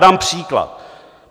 Dám příklad.